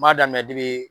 N b'a daminɛ debi